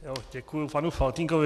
Děkuju panu Faltýnkovi.